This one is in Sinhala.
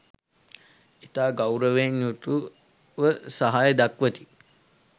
ඉතා ගෞරවයෙන් යුතුව සහාය දක්වති.